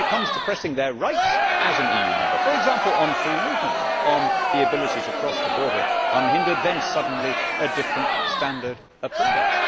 But when it comes to pressing their rights as an EU member, for example to free movement and the ability to cross the border unhindered, suddenly a different standard applies.